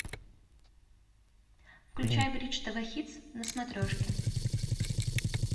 включай бридж тв хитс на смотрешке